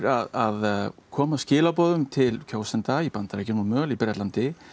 að koma skilaboðum til kjósenda í BNA og mögulega í Bretlandi